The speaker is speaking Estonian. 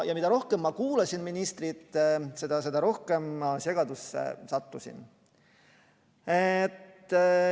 Ja mida rohkem ma kuulasin ministrit, seda rohkem ma segadusse sattusin.